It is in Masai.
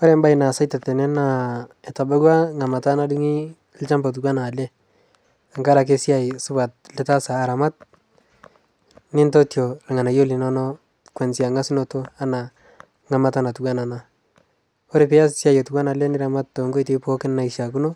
kore mbai naasaita tene naa etabauwa ngama nadungi lshampa otuwana alee tangarakee siai supat litaasa aramat nintotio lghanayo linono kuanzia ngasunoto ana nghamata natuwana ana kore pias siai otuwana ale niramat tonkoitei pooki naishiakino